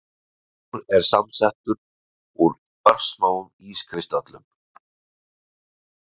snjór er samsettur úr örsmáum ískristöllum